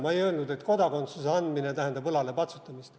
Ma ei öelnud, et kodakondsuse andmine tähendab õlale patsutamist.